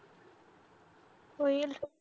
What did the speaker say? होईल